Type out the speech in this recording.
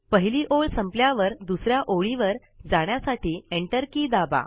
पहिली ओळ संपल्यावर दुसऱ्या ओळीवर जाण्यासाठी एंटर की दाबा